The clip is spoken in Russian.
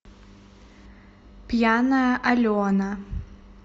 пьяная алена